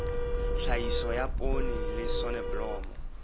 tlhahiso ya poone le soneblomo